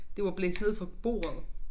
Det var blæst ned fra bordet